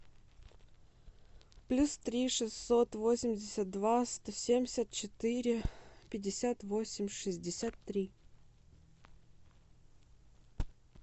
плюс три шестьсот восемьдесят два сто семьдесят четыре пятьдесят восемь шестьдесят три